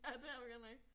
Ja det er vi godt nok